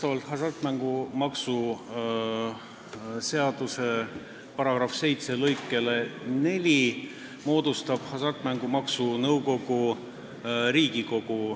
Vastavalt hasartmängumaksu seaduse § 7 lõikele 4 moodustab Hasartmängumaksu Nõukogu Riigikogu.